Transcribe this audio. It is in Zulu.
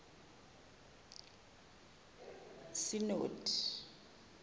c no d